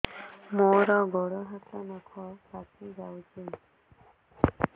ମୋର ଗୋଡ଼ ହାତ ନଖ ପାଚି ଯାଉଛି